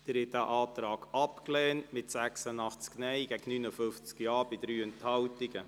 Sie haben diesen Antrag abgelehnt mit 86 Nein- zu 59 Ja-Stimmen bei 3 Enthaltungen.